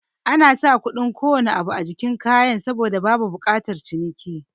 Anasa kuɗin kowane abu a jikin kayan saboda babu bukatar ciniki